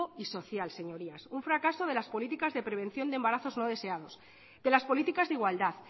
y social señorías un fracaso de las políticas de prevención de embarazos no deseados de las políticas de igualdad